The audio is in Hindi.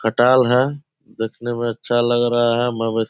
खटाल है देखने में अच्छा लग रहा है। मवेस --